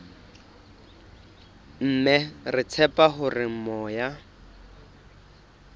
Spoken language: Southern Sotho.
mme re tshepa hore moya